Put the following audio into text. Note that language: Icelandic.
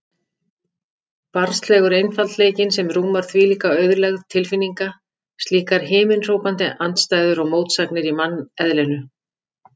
Barnslegur einfaldleikinn sem rúmar þvílíka auðlegð tilfinninga, slíkar himinhrópandi andstæður og mótsagnir í manneðlinu.